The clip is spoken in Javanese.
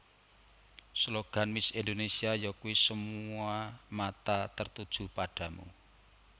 Slogan Miss Indonésia yakuwi Semua Mata Tertuju Padamu